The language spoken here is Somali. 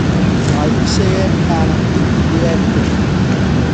“Waxay ii sheegeen in aanan dib u ciyaari karin.